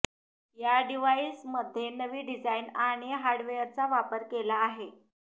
या डिवाइसमध्ये नवी डिझाईन आणि हार्डवेअरचा वापर केला आहे